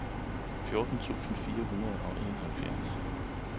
fjorten tusind fire hundrede og enoghalvfjerds